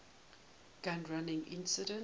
gun running incident